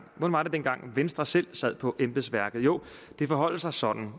venstre selv sad på embedsværket jo det forholder sig sådan